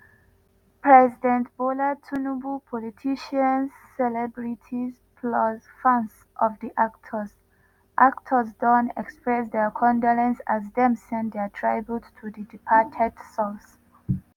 president bola tinubu politicians celebrities plus fans of di actors actors don express dia condolence as dem send dia tribute to di departed souls.